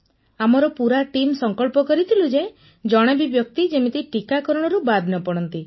ପୁନମ ନୌଟିଆଲ୍ ଆମର ପୁରାଟିମ୍ ସଂକଳ୍ପ କରିଥିଲୁ ଯେ ଜଣେ ବି ବ୍ୟକ୍ତି ଯେମିତି ଟିକାକରଣରୁ ବାଦ୍ ନ ପଡ଼ନ୍ତି